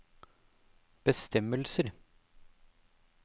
bestemmelser